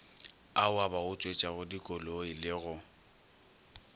ao a bautswetšagodikoloi le go